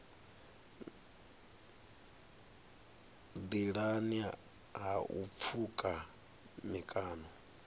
nḓilani ha u pfuka mikano